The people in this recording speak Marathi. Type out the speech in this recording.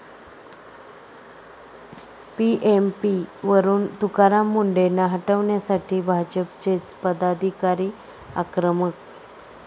पीएमपी'वरून तुकाराम मुंढेंना हटवण्यासाठी भाजपचेच पदाधिकारी आक्रमक!